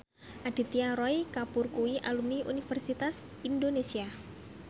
Aditya Roy Kapoor kuwi alumni Universitas Indonesia